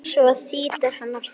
Svo þýtur hann af stað.